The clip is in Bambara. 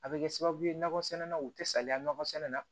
A bɛ kɛ sababu ye nɔgɔ sɛnɛ na u tɛ saliya nakɔsɛnɛ na